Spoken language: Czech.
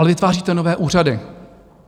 Ale vytváříte nové úřady.